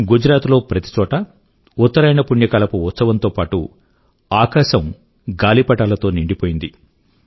గుజరాత్ లో ప్రతి చోటా ఉత్తరాయణ పుణ్యకాలపు ఉత్సవం తో పాటూ ఆకాశం గాలిపటాల తో నిండిపోయింది